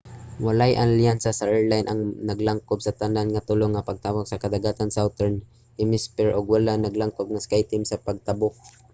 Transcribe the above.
walay alyansa sa airline ang naglangkob sa tanan nga tulo nga pagtabok sa kadagatan sa southern hemisphere ug wala naglangkob ang skyteam sa mga pagtabok